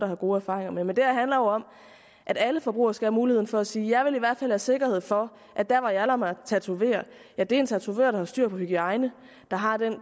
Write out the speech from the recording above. har gode erfaringer med men det her handler jo om at alle forbrugere skal have muligheden for at sige jeg vil i hvert fald have sikkerhed for at der hvor jeg lader mig tatovere er det af en tatovør der har styr på hygiejne der har det